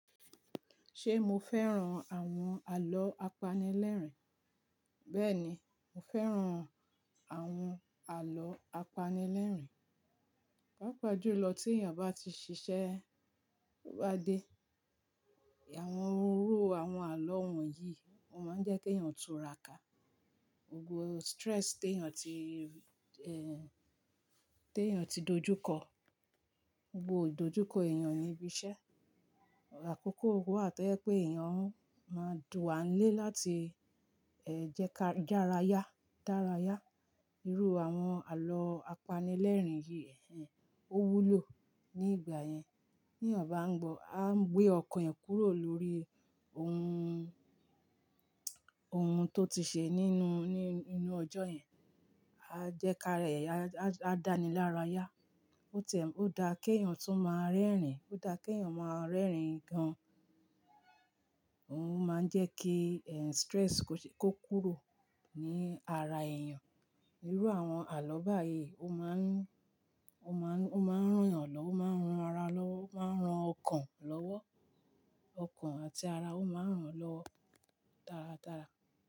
Ṣé mo fẹ́ran àwọn àlọ́ apanilẹ́rìn? Bẹ́ẹ̀ni, mo fẹ́ran àwọn àlọ́ apanilẹ́rìn. Pápájùlọ tí èèyàn bá ti ṣiṣẹ́, bá dé, àwọn irúrú àwọn àlọ́ wọ̀nyí o máa ń jẹ́ kí èèyàn tú ra'kà. Gbogbo stress tí èèyàn ti, tí èèyàn ti dojúkọ, gbogbo ìdojúkọ èèyàn níbi iṣẹ́, àkókò wà tó yẹ pé èèyàn máa dùn wá nílé láti, jẹ́ ká dárayá, dárayá. Irú àwọn àlọ́ apanilẹ́rìn yìí, ẹ́, ó wúlò ní ìgbà yẹn. Bí èyàn ná ngbọ́, a ń gbé ọkàn èyàn kúrò lórí ohun, ohun tó ti ṣe nínú, ní inú ọjọ́ yẹn. A jẹ́ ká rẹ̀, a dá ni lára yá. Ó tiẹ̀, ó dá kí èèyàn tún máa rẹ́rìn-ín, ó dá kí èèyàn máa rẹ́rìn-ín gan-an. Òun máa ń jẹ́ kí, stress kó kúrò ní ara èèyàn. Irú àwọn àlọ́ báyìí ó máa ń, ó máa ń, ó máa ń rán èèyàn lọ́, ó máa ń ran ara lọ́, ó máa ń ran ọkàn lọ́wọ́. Ọkàn àti ara ó máa ń ran lọ tara tara.